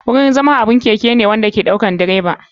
Wurin zama wani keke ne na bycyle wanda ke ɗaukar direban.